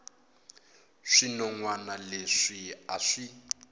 swinon wana leswi a swi